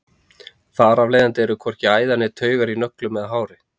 Þar af leiðandi eru hvorki æðar né taugar í nöglum eða hári.